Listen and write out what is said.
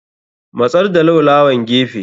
Matsar da laulawan gefe.